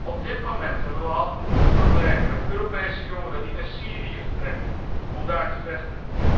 Op dit moment hebben wij al genoeg problemen met Europese jongeren die naar Syrië vertrekken om daar te vechten.